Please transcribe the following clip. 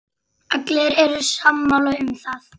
Allir eru sammála um það.